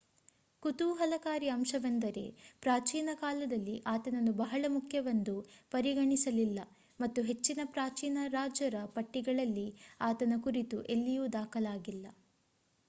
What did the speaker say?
ಕುತೂಹಲಕಾರಿ ಅಂಶವೆಂದರೆ ಪ್ರಾಚೀನ ಕಾಲದಲ್ಲಿ ಆತನನ್ನು ಬಹಳ ಮುಖ್ಯವೆಂದು ಪರಿಗಣಿಸಲಿಲ್ಲ ಮತ್ತು ಹೆಚ್ಚಿನ ಪ್ರಾಚೀನ ರಾಜರ ಪಟ್ಟಿಗಳಲ್ಲಿ ಆತನ ಕುರಿತು ಎಲ್ಲಿಯೂ ದಾಖಲಾಗಿಲ್ಲ